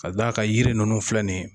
Ka d'a kan yiri ninnu filɛ nin ye